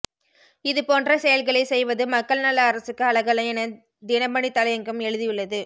இது போன்ற செயல்களைச் செய்வது மக்கள் நல அரசுக்கு அழகல்ல என தினமணி தலையங்கம் எழுதியுள்ளது